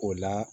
O la